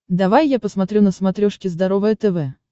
давай я посмотрю на смотрешке здоровое тв